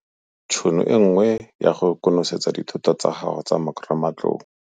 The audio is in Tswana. Tšhono e nngwe ya go konosetsa dithuto tsa gago tsa marematlou.